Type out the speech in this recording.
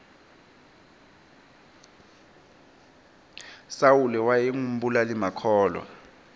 sawule wayengu mbulali makhulwa